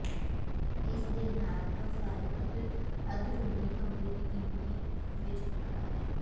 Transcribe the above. ਇਸ ਦੇ ਨਾਲ ਪਰੋਫਾਈਲ ਅੰਦਰੂਨੀ ਕਮਰੇ ਦੀ ਗਿਣਤੀ ਵਿੱਚ ਵੱਖਰਾ ਹੈ